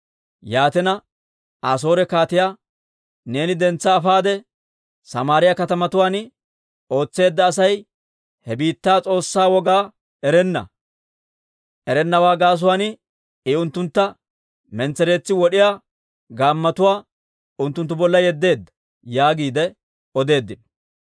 Yaatina Asoore kaatiyaa, «Neeni dentsa afaade Samaariyaa katamatuwaan wotseedda Asay he biittaa s'oossaa wogaa erenna. Erennawaa gaasuwaan I unttuntta mentsereetsi wod'iyaa gaammotuwaa unttunttu bolla yeddeedda» yaagiide odeeddino.